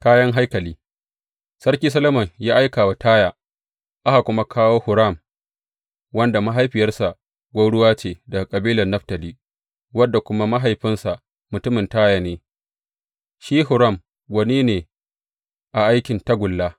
Kayan haikali Sarki Solomon ya aika zuwa Taya aka kuma kawo Huram, wanda mahaifiyarsa gwauruwa ce daga kabilar Naftali, wanda kuma mahaifinsa mutumin Taya ne, shi Huram, gwani ne a aikin tagulla.